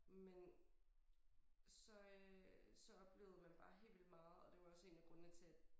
Men så øh så oplevede man bare helt vildt meget og det var også en af grundene til at